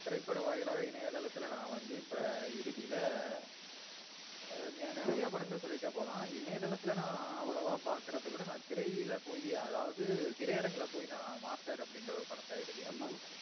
திரைப்பட வாயிலாக இணையதளத்துல நா வந்து இப்ப இறுதில ஆஹ் ஹம் நிறையா படங்கள சொல்லிட்டே போலாம் இணையதளத்துல நா அவ்வளவா பாக்குறதவிட நா திரையில பயி அதாவது திரைஅரங்குல போய் நா மாஸ்டர் அப்டினுற ஒரு படத்த இறுதியா ஹம் பாத்தன்.